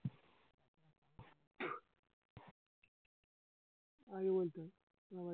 আগে বলতা